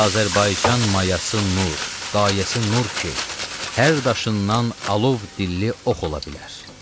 Azərbaycan mayası nur, qayəsi nur ki, hər daşından alov dilli ox ola bilər.